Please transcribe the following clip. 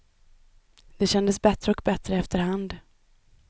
Det kändes bättre och bättre efter hand.